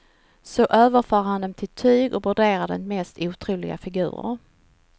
Så överför han dem till tyg och broderar de mest otroliga figurer.